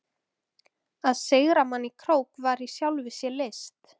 Að sigra mann í krók var í sjálfu sér list.